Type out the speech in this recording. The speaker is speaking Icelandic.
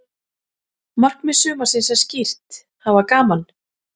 Markmið sumarsins er skýrt: Hafa gaman.